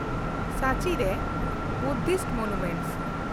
ᱥᱟᱸᱪᱤ ᱨᱮ ᱵᱩᱫᱽᱫᱷᱚ ᱢᱚᱱᱩᱢᱮᱱᱴᱥ